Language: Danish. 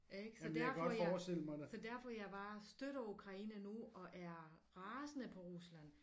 Ikke så derfor jeg så derfor jeg bare støtter Ukraine nu og er rasende på Rusland